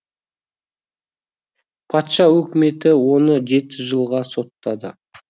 патша өкіметі оны жеті жылға соттады